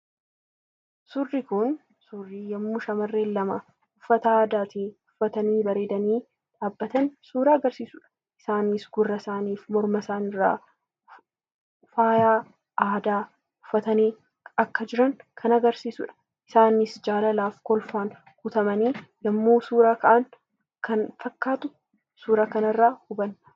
Suurri Kun, suurri yemmuu shamarreen lama uffata aadaa uffatanii bareedanii dhaabbatan suuraa agarsiisudha. Isaanis gurra isaanii, morma isaanii irraa faayaa aadaa uffatanii akka jiran kan agarsiisudha. Isaanis jaalalaa fi kolfaan guutamanii yemmuu suura ka'an kan fakkaatu suura kana irraa hubanna.